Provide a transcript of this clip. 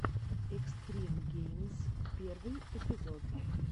экстрим геймз первый эпизод